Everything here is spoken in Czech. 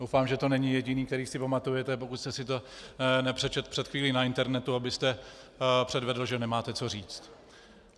Doufám, že to není jediný, který si pamatujete, pokud jste si to nepřečetl před chvílí na internetu, abyste předvedl, že nemáte co říct.